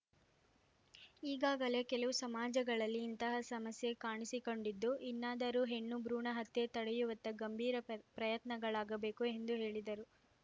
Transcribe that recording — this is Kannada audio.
ಈಗಾಗಲೇ ಕೆಲವು ಸಮಾಜಗಳಲ್ಲಿ ಇಂತಹ ಸಮಸ್ಯೆ ಕಾಣಿಸಿಕೊಂಡಿದ್ದು ಇನ್ನಾದರೂ ಹೆಣ್ಣು ಭ್ರೂಣ ಹತ್ಯೆ ತಡೆಯುವತ್ತ ಗಂಭೀರ ಪ್ರಯ್ ಪ್ರಯತ್ನಗಳಾಗಬೇಕು ಎಂದು ಹೇಳಿದರು